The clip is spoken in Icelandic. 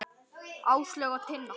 Áslaug og Tinna.